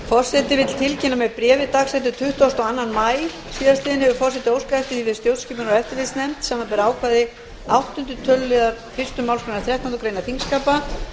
forseti vill tilkynna að með bréfi tuttugasta og annan maí síðastliðinn hefur forseti óskað eftir því við stjórnskipunar og eftirlitsnefnd samanber ákvæði áttunda töluliðar fyrstu málsgreinar þrettándu greinar þingskapa